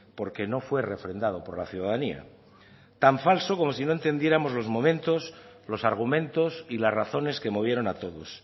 porque no fue refrendado por la ciudadanía tan falso como si no entendiéramos los momentos los argumentos y las razones que movieron a todos